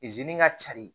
zenin ka cari